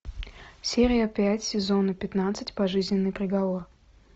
серия пять сезона пятнадцать пожизненный приговор